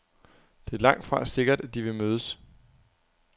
Det er langtfra sikkert, at de vil mødes.